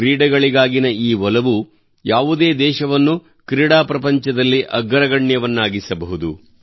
ಕ್ರೀಡೆಗಳಿಗಾಗಿನ ಈ ಒಲವು ಯಾವುದೇ ದೇಶವನ್ನು ಕ್ರೀಡಾ ಪ್ರಪಂಚದಲ್ಲಿ ಅಗ್ರಗಣ್ಯನನ್ನಾಗಿಸಬಹುದು